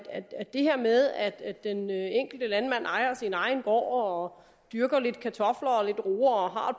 det her med at at den enkelte landmand ejer sin egen gård og dyrker lidt kartofler og lidt roer og har